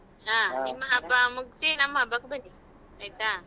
ಹಾ ನಿಮ್ಮ ಹಬ್ಬ ಮುಗ್ಸಿ ನಮ್ಮ ಹಬ್ಬಕ್ಕೆ ಬನ್ನಿ ಆಯ್ತಾ?